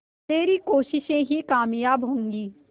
तेरी कोशिशें ही कामयाब होंगी